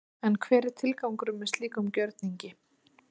En hver er tilgangurinn með slíkum gjörningi?